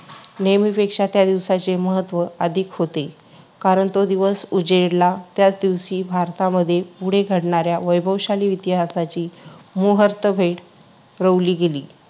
नेहमीपेक्षा त्या दिवसाचे महत्त्व अधिक होते, कारण तो दिवस उजेडला त्याच दिवशी भारतामध्ये पुढे घडणाऱ्या वैभवशाली इतिहासाची मुहूर्तमेढ रोवली गेली.